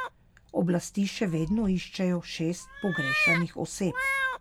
Oblasti še vedno iščejo šest pogrešanih oseb.